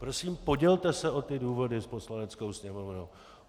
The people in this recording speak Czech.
Prosím, podělte se o ty důvody s Poslaneckou sněmovnou.